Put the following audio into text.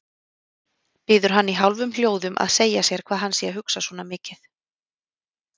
Biður hann í hálfum hljóðum að segja sér hvað hann sé að hugsa svona mikið.